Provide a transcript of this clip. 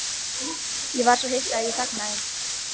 Ég var svo hissa að ég þagnaði.